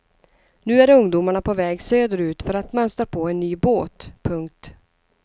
Nu är ungdomarna på väg söderut för att mönstra på en ny båt. punkt